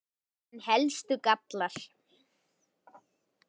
En helstu gallar?